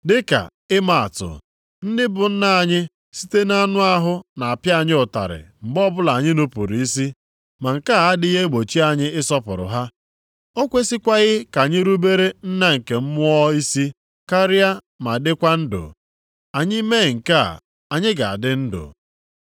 Dịka ịma atụ, ndị bụ nna anyị site nʼanụ ahụ na-apịa anyị ụtarị mgbe ọbụla anyị nupuru isi. Ma nke a adịghị egbochi anyị ịsọpụrụ ha. O kwesikwaghị ka anyị rubere Nna nke mmụọ isi karịa ma dịkwa ndụ? Anyị mee nke a, anyị ga-adị ndụ.